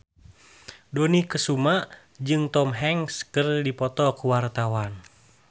Dony Kesuma jeung Tom Hanks keur dipoto ku wartawan